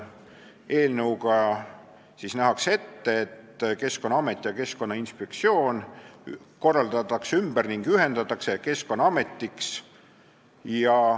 Eelnõuga nähakse ette, et Keskkonnaamet ja Keskkonnainspektsioon korraldatakse ümber ning ühendatakse Keskkonnaametiks.